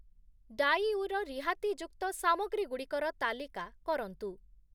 ଡାଇଉ ର ରିହାତିଯୁକ୍ତ ସାମଗ୍ରୀ‌ଗୁଡ଼ିକର ତାଲିକା କରନ୍ତୁ ।